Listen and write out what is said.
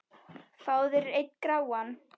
Fáðu þér einn gráan!